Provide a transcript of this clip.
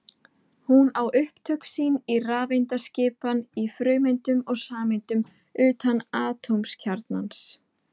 hún á upptök sín í rafeindaskipan í frumeindum og sameindum utan atómkjarnans